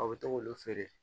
A bɛ to k'olu feere